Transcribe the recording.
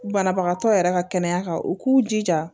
Banabagatɔ yɛrɛ ka kɛnɛya kan u k'u jija